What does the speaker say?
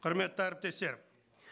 құрметті әріптестер